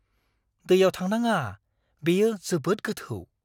दैयाव थांनाङा। बेयो जोबोद गोथौ!